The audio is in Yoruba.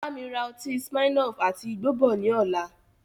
Bámi ra ọtí smirnoff àti igbó bọ̀ ni ọ̀la